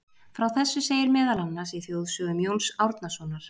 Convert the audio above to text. frá þessu segir meðal annars í þjóðsögum jóns árnasonar